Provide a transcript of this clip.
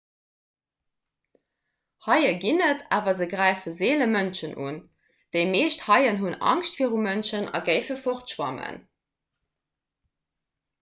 haie ginn et awer se gräife seele mënschen un déi meescht haien hunn angscht viru mënschen a géife fortschwammen